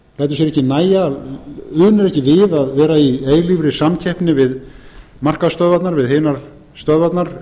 við að vera í eilífri samkeppni við markaðsstöðvarnar við hinar stöðvarnar